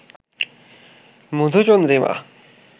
মধুচন্দ্রিমা